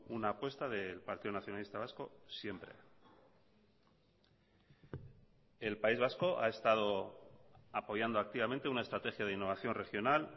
una apuesta del partido nacionalista vasco siempre el país vasco ha estado apoyando activamente una estrategia de innovación regional